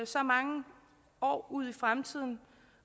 så mange år ud i fremtiden